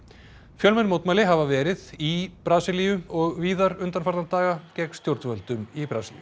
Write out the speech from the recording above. fjölmenn mótmæli hafa verið í Brasilíu og víðar undanfarna daga gegn stjórnvöldum í Brasilíu